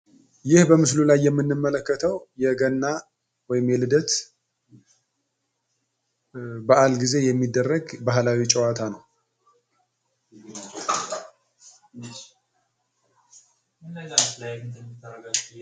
ይህ በምስሉ ላይ የምንመለከተው የገና ወይንም የልደት በአል ጊዜ የሚደረግ ባህላዊ ጨዋታ ነው።